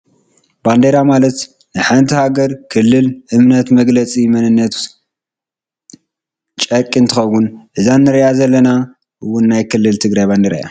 ባንዴራ ማለት ናይ ሓንቲ ሃገር፣ ክልል፣ እምነት መግለፂ መንነት ፀርቂ እንትከውን እዛ እንሪኣ ዘለና ውን ናይ ክልል ትግራይ ባንዴራ እያ።